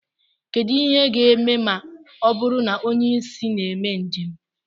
Kedu ihe ga-eme ma ọ bụrụ na onye isi na mee njem